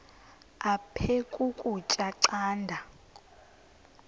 aphek ukutya canda